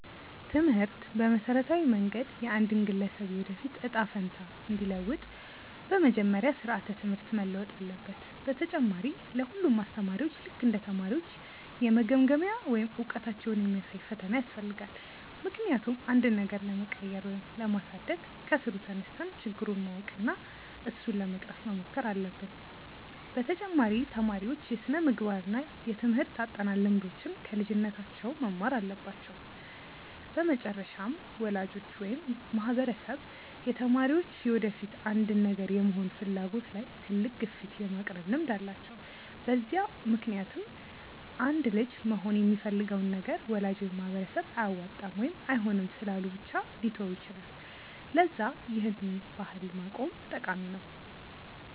ትምህርት በመሠረታዊ መንገድ የአንድን ግለሰብ የወደፊት እጣ ፈንታ እንዲለውጥ፤ በመጀመሪያ ስራዓተ ትምህርት መለወጥ አለበት፣ በተጨማሪ ለ ሁሉም አስተማሪዎች ልክ እንደ ተማሪዎች የመገምገሚያ ወይም እውቀታቸውን የሚያሳይ ፈተና ያስፈልጋል፤ ምክንያቱም አንድን ነገር ለመቀየር ወይም ለማሳደግ ከስሩ ተነስተን ችግሩን ማወቅ እና እሱን ለመቅረፍ መሞከር አለብን፤ በተጨማሪ ተማሪዎች የስነምግባር እና የትምርህት አጠናን ልምዶችን ከልጅነታቸው መማር አለባቸው፤ በመጨረሻም ወላጆች ወይም ማህበረሰብ የተማሪዎች የወደፊት አንድን ነገር የመሆን ፍላጎት ላይ ትልቅ ግፊት የማቅረብ ልምድ አላቸው፤ በዛ ምክንያትም አንድ ልጅ መሆን የሚፈልገውን ነገር ወላጅ ወይም ማህበረሰብ አያዋጣም ወይም አይሆንም ስላሉ ብቻ ሊተወው ይችላል፤ ለዛ ይህን ባህል ማቆም ጠቃሚ ነው።